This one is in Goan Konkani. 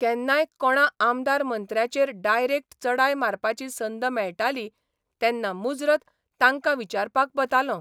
केन्नाय कोणा आमदार मंत्र्याचेर डायरेक्ट चडाय मारपाची संद मेळटाली तेन्ना मुजरत तांकां विचारपाक वतालों.